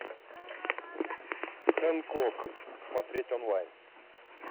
хэнкок смотреть онлайн